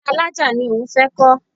Ọkọ mi ní ilé alájà ni òun fẹ́ kọ́.